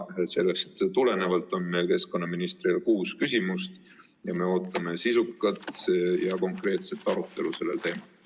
Sellest tulenevalt on meil keskkonnaministrile kuus küsimust ja me ootame sisukat ja konkreetset arutelu sellel teemal.